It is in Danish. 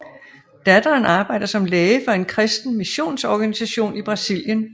Datteren arbejder som læge for en kristen missionsorganisation i Brasilien